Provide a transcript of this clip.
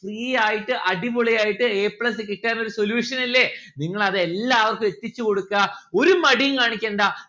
free ആയിട്ട് അടിപൊളി ആയിട്ട് a plus കിട്ടാനൊരു solution ഇല്ലേ. നിങ്ങളത് എല്ലാവർക്കും എത്തിച്ചു കൊടുക്കാ ഒരു മടിയും കാണിക്കണ്ട